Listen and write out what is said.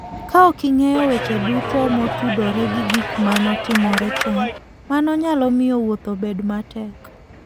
Kaok ing'eyo weche duto motudore gi gik ma notimore chon, mano nyalo miyo wuoth obed matek.